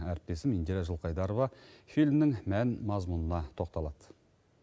әріптесім индира жылқайдарова фильмнің мән мазмұнына тоқталады